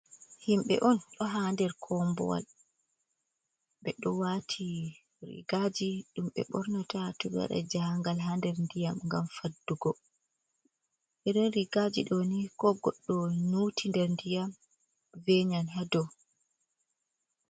Himbe on ɗo ha nder kombowal ɓeɗo wati rigaji ɗum ɓe bornata to ɓe waɗan jahangal ha nder ndiyam, ngam faddugo eren rigaji doni ko goddo muti nder ndiyam venyan hado.